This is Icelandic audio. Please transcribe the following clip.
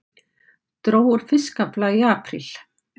Dró úr fiskafla í apríl